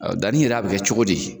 Danni yɛrɛ a be kɛ cogodi ?